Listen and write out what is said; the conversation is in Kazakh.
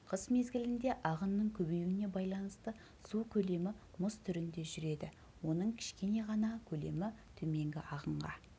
қыс мезгілінде ағынның көбеюіне байланысты су көлемі мұз түрінде жүреді оның кішкене ғана көлемі төменгі ағынға